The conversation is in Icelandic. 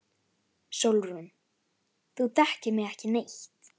SÓLRÚN: Þú þekkir mig ekki neitt.